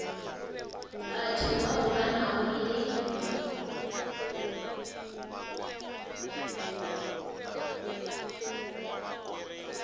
batho bao ba nago le